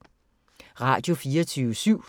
Radio24syv